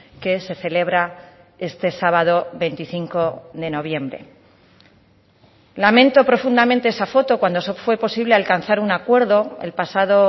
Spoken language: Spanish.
que se celebra este sábado veinticinco de noviembre lamento profundamente esa foto cuando fue posible alcanzar un acuerdo el pasado